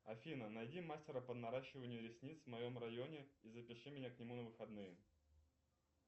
афина найди мастера по наращиванию ресниц в моем районе и запиши меня к нему на выходные